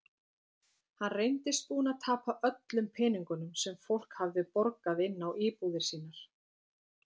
Hann reyndist búinn að tapa öllum peningum sem fólk hafði borgað inn á íbúðir sínar.